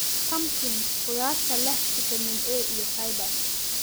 Pumpkins: Khudaarta leh fiitamiin A iyo fiber.